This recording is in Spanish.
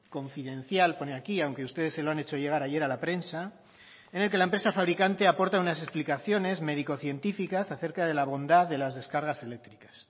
confidencial pone aquí aunque ustedes se lo han hecho llegar ayer a la prensa en el que la empresa fabricante aporta unas explicaciones médico científicas acerca de la bondad de las descargas eléctricas